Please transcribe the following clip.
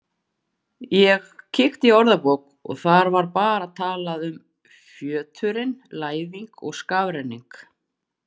Ég kíkti í orðabók og þar var bara talað um fjöturinn Læðing og skafrenning.